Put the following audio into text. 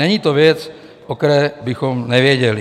Není to věc, o které bychom nevěděli."